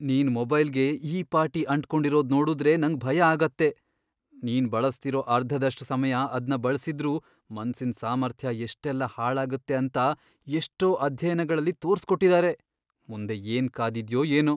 ನೀನ್ ಮೊಬೈಲ್ಗೆ ಈ ಪಾಟಿ ಅಂಟ್ಕೊಂಡಿರೋದ್ ನೋಡುದ್ರೇ ನಂಗ್ ಭಯ ಆಗತ್ತೆ. ನೀನ್ ಬಳಸ್ತಿರೋ ಅರ್ಧದಷ್ಟ್ ಸಮಯ ಅದ್ನ ಬಳಸಿದ್ರೂ ಮನ್ಸಿನ್ ಸಾಮರ್ಥ್ಯ ಎಷ್ಟೆಲ್ಲ ಹಾಳಾಗತ್ತೆ ಅಂತ ಎಷ್ಟೋ ಅಧ್ಯಯನಗಳಲ್ಲಿ ತೋರ್ಸ್ಕೊಟ್ಟಿದಾರೆ. ಮುಂದೆ ಏನ್ ಕಾದಿದ್ಯೋ ಏನೋ!